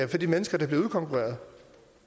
de mennesker der bliver udkonkurreret